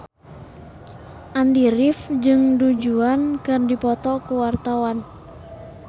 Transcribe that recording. Andy rif jeung Du Juan keur dipoto ku wartawan